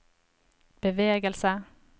bevegelse